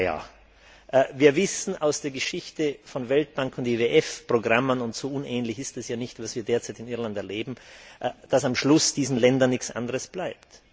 Doch wir wissen aus der Geschichte von Weltbank und IWF Programmen und so unähnlich ist das ja nicht, was wir derzeit in Irland erleben dass am Schluss diesen Ländern nichts anderes bleibt.